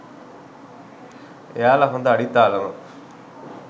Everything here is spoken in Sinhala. එයාලා හොඳ අඩිතාලමක්